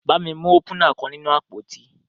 Bami mu opúnạ kan ninu apoti.